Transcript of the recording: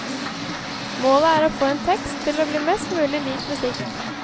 Målet er å få en tekst til å bli mest mulig lik musikk.